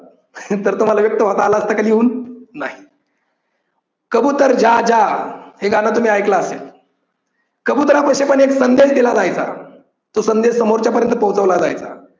तर तुम्हाला व्यक्त होता आलं असत का लिहून. नाही कबूतर जा जा हे गाणं तुम्ही ऐकलं असेल. कबुतरापाशी पण एक संदेश दिला जायचा तो संदेश समोरच्यापर्यंत पोचवलं जायचा.